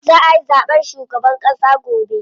Za ayi zaɓen shugaban ƙass gobe.